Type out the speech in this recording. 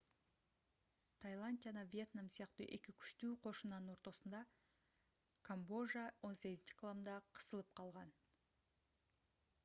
тайланд жана вьетнам сыяктуу эки күчтүү кошунанын ортосунда камбожа 18-кылымда кысылып калган